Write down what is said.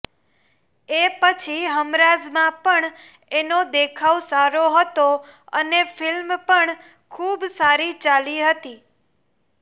એ પછી હમરાઝમાં પણ એનો દેખાવ સારો હતો અને ફિલ્મ પણ ખુબ સારી ચાલી હતી